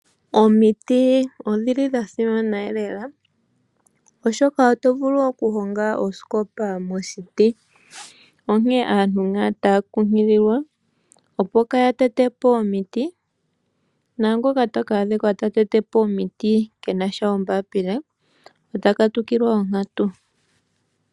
Omiiti odhil i dhasimana lela oshoka otovulu okuhonga osikopa mo miiti, onkene aantu otaya kunkililwa kaya tete po omiiti na ngoka taka adhika ta tete po omiiti kena ompaila ota katukilwa onkatu.